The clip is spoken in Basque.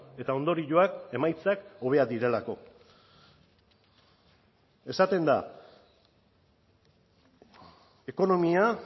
eta ondorioak emaitzak hobeak direlako esaten da ekonomia